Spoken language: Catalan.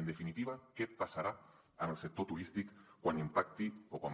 en definitiva què passarà amb el sector turístic quan